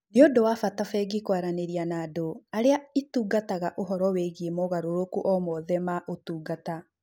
Nĩ ũndũ wa bata bengi kwaranĩria na andũ arĩa ĩtungataga ũhoro wĩgiĩ mogarũrũku o mothe ma ma ũtungata.